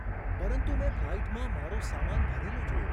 પરંતુ મેં ફ્લાઈટમાં મારો સામાન ભરેલો જોયો.